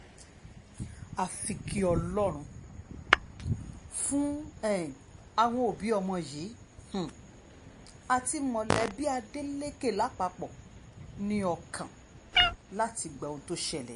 àfi kí ọlọ́run fún um àwọn òbí ọmọ yìí um àti mọ̀lẹ́bí ádélékè lápapọ̀ ní ọkàn láti gba ohun tó ṣẹlẹ̀ yìí